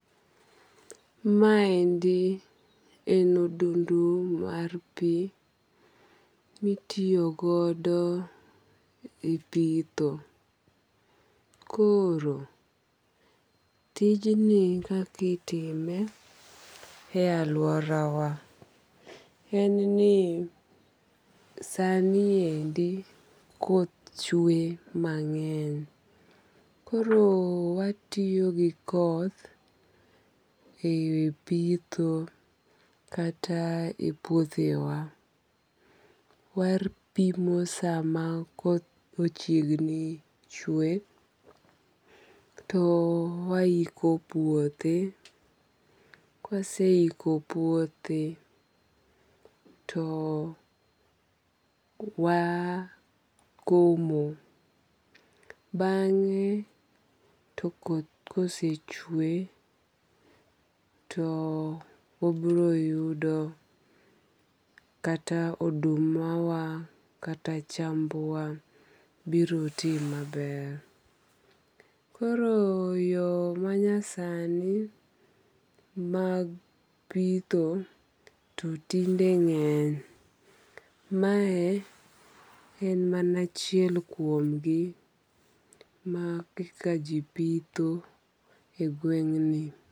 Maendi en odundu mar pi mitiyo godo e pitho. Koro, tijni kakitime e aluora wa, en ni sani endi koth chwe mang'eny. Koro watiyo gi koth e pitho kata e puothe wa. Wapimo sama koth ochiegni chwe to wahiko puothe. Kwasehiko puothe to wakomo. Bang'e to koth kosechwe to wabiro yudo kata oduma wa kata chamb wa biro ti maber. Koro yo manyasani mag pitho to tinde ng'eny. Mae en mana achiel kuom gi ma kaka ji pitho e gweng' ni.